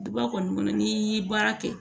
Duba kɔni kɔnɔ ni baara kɛ